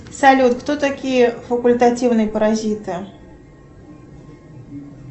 салют кто такие факультативные паразиты